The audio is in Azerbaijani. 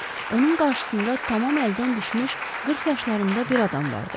Onun qarşısında tamam əldən düşmüş 40 yaşlarında bir adam vardı.